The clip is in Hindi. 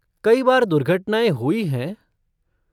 कई बार दुर्घटनाएँ हुई हैं।